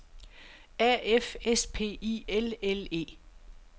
A F S P I L L E